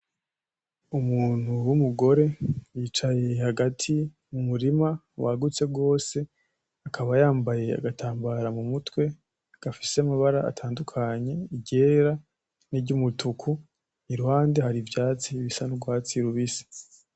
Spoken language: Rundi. Umuntu w'umugore yicaye hagati mumurima wagutse gose, akaba yambaye agatambara mumutwe gafise amabara menshi iryera n'iryumutuku, iruhande hari ivyatsi bisa n'urwatsi rubisi